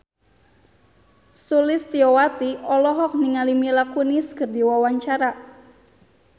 Sulistyowati olohok ningali Mila Kunis keur diwawancara